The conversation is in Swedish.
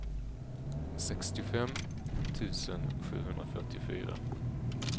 sextiofem tusen sjuhundrafyrtiofyra